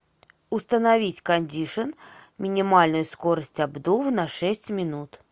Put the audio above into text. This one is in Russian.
установить кондишн минимальную скорость обдува на шесть минут